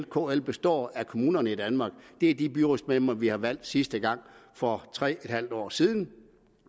kl består af kommunerne i danmark det er de byrådsmedlemmer vi har valgt sidste gang for tre en halv år siden